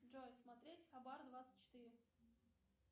джой смотреть хабар двадцать четыре